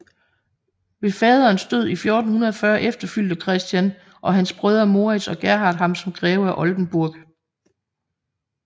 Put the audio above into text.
Ved faderens død i 1440 efterfulgte Christian og hans brødre Morits og Gerhard ham som greve af Oldenburg